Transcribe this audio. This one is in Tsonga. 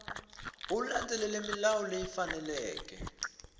u landzelela milawu leyi faneleke